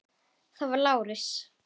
Það var Lárus.